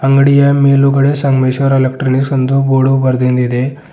ಅಂಗಡಿಯ ಮೇಲುಗಡೆ ಸಂಗಮೇಶ್ವರ್ ಎಲೆಕ್ಟ್ರಾನಿಕ್ಸ್ ಎಂದು ಬೋರ್ಡು ಬರ್ದಿಂದಿದೆ.